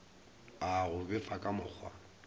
a go befa ka mokgwa